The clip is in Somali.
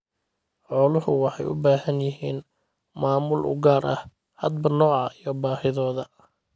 Xooluhu waxay u baahan yihiin maamul u gaar ah hadba nooca iyo baahidooda.